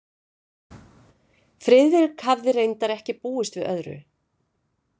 Friðrik hafði reyndar ekki búist við öðru.